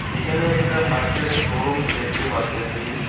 এখানে একটা বাইক -এর শোরুম দেখতে পারতেসি।